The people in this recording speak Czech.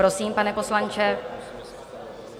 Prosím, pane poslanče.